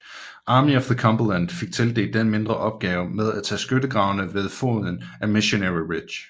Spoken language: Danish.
Army of the Cumberland fik tildelt den mindre opgave med at tage skyttegravene ved foden af Missionary Ridge